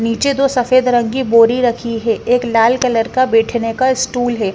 नीचे दो सफेद रंग की बोरी रखी है एक लाल कलर का बैठने का स्टूल है।